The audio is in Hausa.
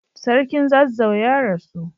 Sarkin zazzau ya rasu.